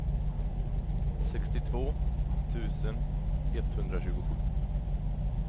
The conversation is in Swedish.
sextiotvå tusen etthundratjugosju